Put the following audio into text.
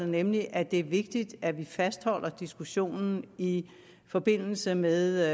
nemlig at det er vigtigt at vi fastholder diskussionen i forbindelse med